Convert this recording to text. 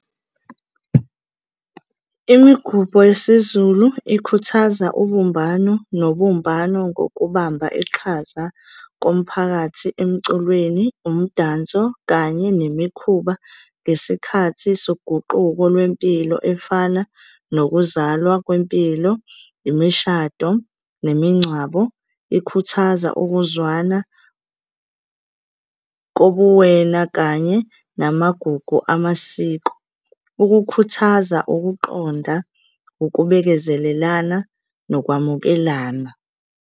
Imigubho yesiZulu ikhuthaza ubumbano nobumbano ngokubamba iqhaza komphakathi emculweni, umdanso kanye nemikhuba ngesikhathi soguquko lwempilo efana nokuzalwa kwempilo, imishado, nemingcwabo. Ikhuthaza ukuzwana kobuwena kanye namagugu amasiko, ukukhuthaza ukuqonda, ukubekezelelana nokwamukelana.